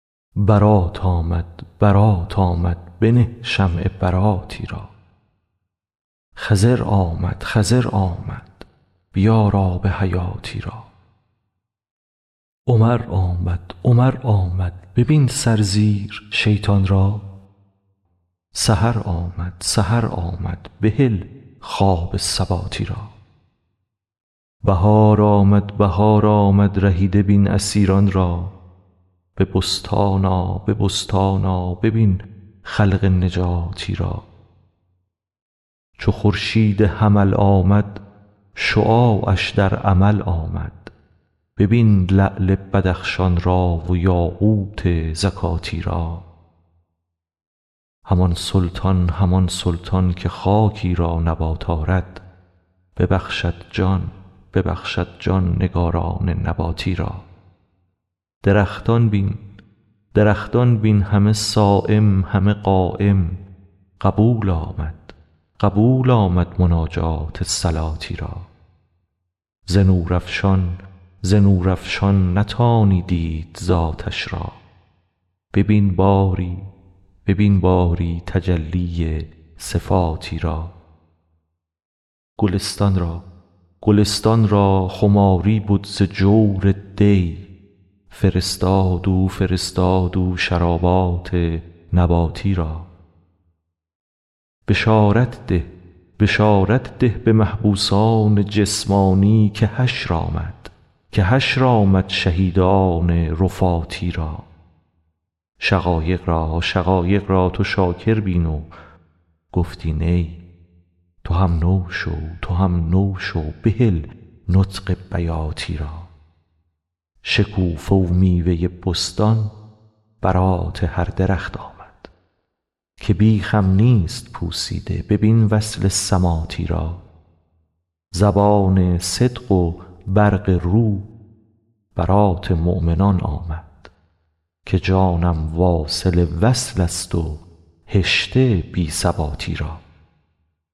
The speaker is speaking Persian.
برات آمد برات آمد بنه شمع براتی را خضر آمد خضر آمد بیار آب حیاتی را عمر آمد عمر آمد ببین سرزیر شیطان را سحر آمد سحر آمد بهل خواب سباتی را بهار آمد بهار آمد رهیده بین اسیران را به بستان آ به بستان آ ببین خلق نجاتی را چو خورشید حمل آمد شعاعش در عمل آمد ببین لعل بدخشان را و یاقوت زکاتی را همان سلطان همان سلطان که خاکی را نبات آرد ببخشد جان ببخشد جان نگاران نباتی را درختان بین درختان بین همه صایم همه قایم قبول آمد قبول آمد مناجات صلاتی را ز نورافشان ز نورافشان نتانی دید ذاتش را ببین باری ببین باری تجلی صفاتی را گلستان را گلستان را خماری بد ز جور دی فرستاد او فرستاد او شرابات نباتی را بشارت ده بشارت ده به محبوسان جسمانی که حشر آمد که حشر آمد شهیدان رفاتی را شقایق را شقایق را تو شاکر بین و گفتی نی تو هم نو شو تو هم نو شو بهل نطق بیاتی را شکوفه و میوه بستان برات هر درخت آمد که بیخم نیست پوسیده ببین وصل سماتی را زبان صدق و برق رو برات مؤمنان آمد که جانم واصل وصلست و هشته بی ثباتی را